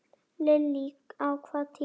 Lillý: Á hvaða tíma?